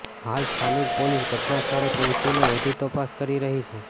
હાલ સ્થાનિક પોલીસ ઘટના સ્થળે પહોંચીને વધુ તપાસ કરી રહી છે